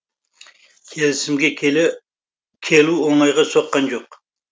келісімге келу оңайға соққан жоқ